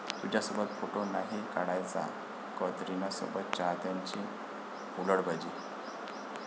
तुझ्यासोबत फोटो नाही काढायचा',कतरीनासोबत चाहत्यांची हुलडबाजी